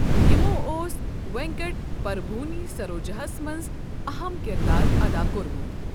یِمَو اوس وینکٹ پربھوٕنۍ سروجاہَس منٛز اَہَم کِردار ادا کوٚرمُت۔